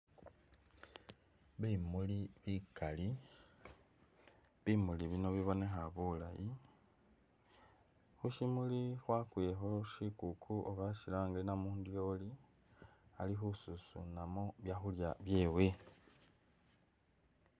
Bimuli bikali bimuli bino bibonekha bulaayi, khushimuli khwakwilekho shikuku oba shilange namudyoli Ali khususunamo byakhulya byewe